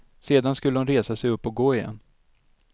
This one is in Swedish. Sedan skulle hon resa sig upp och gå igen.